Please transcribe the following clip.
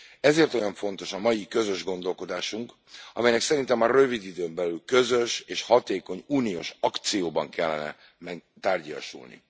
Ezért olyan fontos a mai közös gondolkodásunk, amelynek szerintem a rövid időn belül közös és hatékony uniós akcióban kellene tárgyiasulni.